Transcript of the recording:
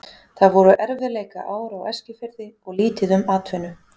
Það voru erfiðleikaár á Eskifirði og lítið um atvinnu.